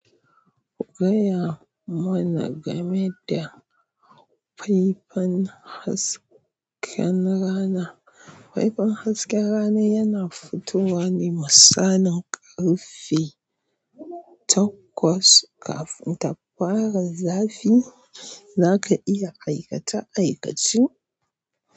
Gaya ma na game da faifan hasken rana. Faifan hasken rana yana fitowa ne misalin ƙarfe takwas kafin tafara zafi. Zaka iya aikata aikacin.